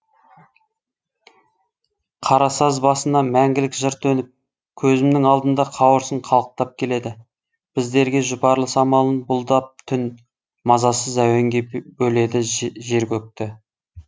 қарасаз басына мәңгілік жыр төніп көзімнің алдында қауырсын қалықтап келеді біздерге жұпарлы самалын бұлдап түн мазасыз әуенге бөледі жер көкті